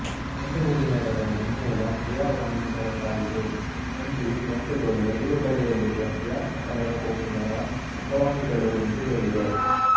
ಬೆನ್ನುಹುರಿನರದ ಮುಮ್ಮೂಲ ಕ್ರಿಯಾವಾಹಿಗಳಿಂದಾದುದು ಎಂದೂ ಈ ತಂತುಗಳು ಮಿದುಳುಬಳ್ಳಿಯಲ್ಲಿರುವ ಕ್ರಿಯಾತ್ಮಕ ನರಕೋಶಗಳ ಅಪವಾಹಿಗಳೂ ಎಂದೂ ಹೇಳಿದೆ